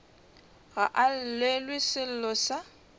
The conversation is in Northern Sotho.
ga a llelwe sello sa